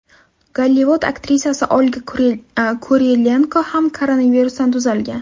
Gollivud aktrisasi Olga Kurilenko ham koronavirusdan tuzalgan.